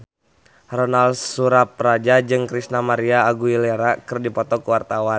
Ronal Surapradja jeung Christina María Aguilera keur dipoto ku wartawan